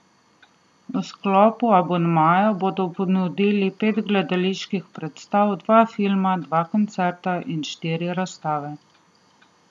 V sklopu abonmaja bodo ponudili pet gledaliških predstav, dva filma, dva koncerta in štiri razstave.